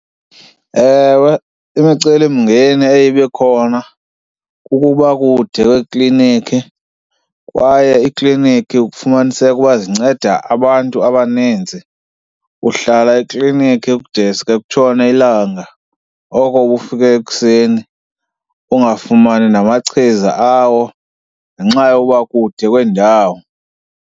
Ewe, imicelimngeni eye ibe khona kukuba kude kweekliniki kwaye iikliniki kufumaniseke ukuba zinceda abantu abaninzi. Uhlala ekliniki kudeske kutshone ilanga, oko ubufike ekuseni ungafumani namachiza awo ngenxa yokuba kude kweendawo.